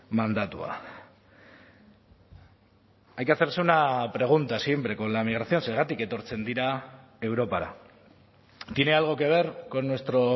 mandatua hay que hacerse una pregunta siempre con la migración zergatik etortzen dira europara tiene algo que ver con nuestro